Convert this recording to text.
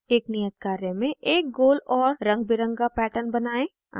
एक नियत कार्य में एक गोल और रंगबिरंगा pattern बनाएं